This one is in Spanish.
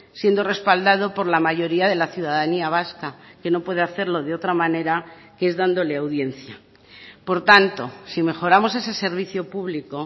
siendo respaldado por la mayoría de la ciudadanía vasca que no puede hacerlo de otra manera que es dándole audiencia por tanto si mejoramos ese servicio público